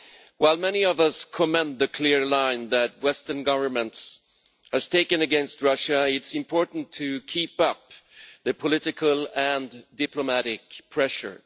While many of us commend the clear line that Western governments have taken against Russia, it is important to keep up the political and diplomatic pressure.